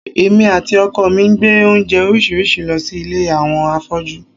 Èmi àti ọkọ mi gbé oúnjẹ oríṣiríṣi lọ sí ilé àwọn afọ́jú